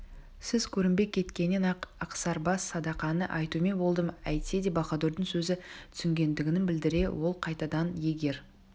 сіз көрінбей кеткеннен-ақ ақсарбас садақаны айтумен болдым әйтсе де баһадурдың сөзін түсінгендігін білдіре ол қай-тадан егер